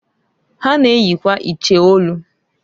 Ha na-eyikwa iche olu.